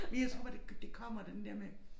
Men jeg tror bare det det kommer den der med